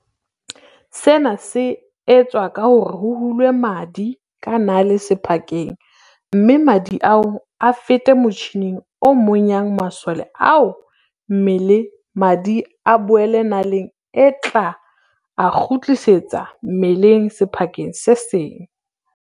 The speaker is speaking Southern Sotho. Sena se etswa ka hore ho hulwe madi ka nale sephakeng mme madi ao a fete motjhining o monyang masole ao mme madi a boele naleng e tla a kgutlisetsa mmeleng sephakeng se seng.